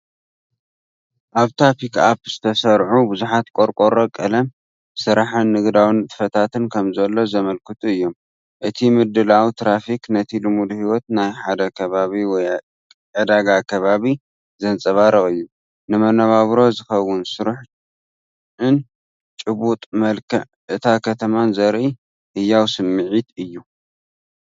ኣብታ ፒክኣፕ ዝተሰርዑ ብዙሓት ቆርቆሮ ቀለም፡ ስራሕን ንግዳዊ ንጥፈታትን ከምዘሎ ዘመልክቱ እዮም። እቲ ምድላውን ትራፊክን ነቲ ልሙድ ህይወት ናይ ሓደ ከባቢ ወይ ዕዳጋ ከባቢ ዘንጸባርቕ እዩ። ንመነባብሮ ዝኸውን ስራሕን ጭቡጥ መልክዕ እታ ከተማን ዘርኢ ህያው ስምዒት ኣለዎ።